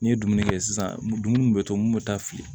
N'i ye dumuni kɛ sisan dumuni bɛ to mun bɛ taa fili